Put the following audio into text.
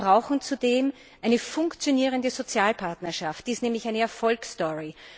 Wir brauchen zudem eine funktionierende Sozialpartnerschaft, die ist nämlich eine Erfolgsstory.